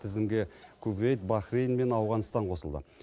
тізімге кувейт бахрейн мен ауғанстан қосылды